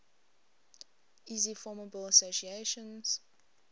easily formable associations